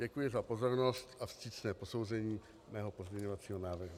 Děkuji za pozornost a vstřícné posouzení mého pozměňovacího návrhu.